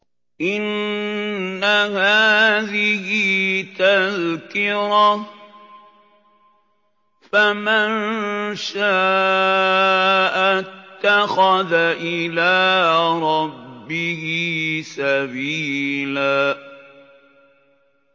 إِنَّ هَٰذِهِ تَذْكِرَةٌ ۖ فَمَن شَاءَ اتَّخَذَ إِلَىٰ رَبِّهِ سَبِيلًا